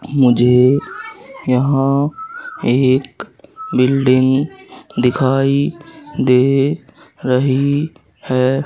मुझे यहां एक बिल्डिंग दिखाई दे रही है।